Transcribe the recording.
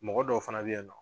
Mɔgɔ dɔw fana bɛ yan nɔ